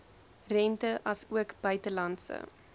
rente asook buitelandse